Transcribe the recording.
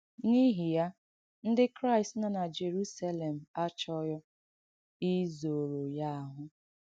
N’īhị yà, Ndị Kraịst nọ na Jèrùsélèm àchọ́ghī īzọ̀rọ̀ ya àhụ́.